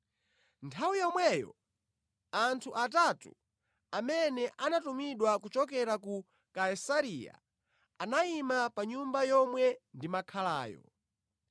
“Nthawi yomweyo anthu atatu amene anatumidwa kuchokera ku Kaisareya anayima pa nyumba yomwe ndimakhalayo.